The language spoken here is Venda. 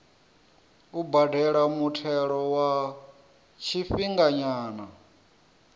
u badela muthelo wa tshifhinganyana